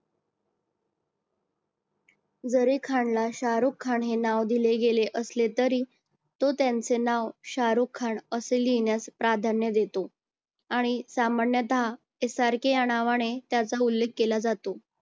जरी खान ला शारुख खान नाव दिले गेले असले तरी तो त्यांचे नाव शारुख खान असे लिहिण्यास प्राधान्य देतो. आणि सामान्यतः SRK या नावाने त्याचा उल्लेख केला जातो.